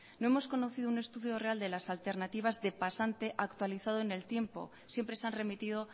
no hemos conocido un estudio real de las alternativas de pasante actualizado en el tiempo siempre se han remitido